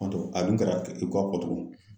Fantɔ a dun kara i ka ko y'a fɔ togo min